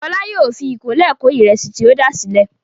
Fọlá yóò fi ìkọ́lé kó ìrẹsì tí o dà sílẹ̀.